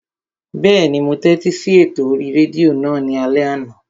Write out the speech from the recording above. Bẹ́ẹ̀ni, mo tẹ́tí sí ètò orí rédíò náà ní alẹ́ àná